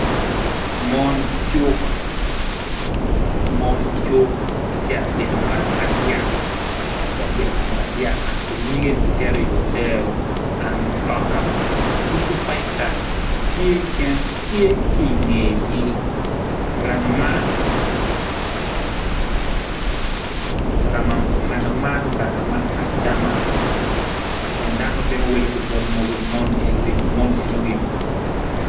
Mon cuk gitye kabito muranga madyak kun giketo nyige i odero dok mutoka fusu tye ki i ngegi muranga man me acam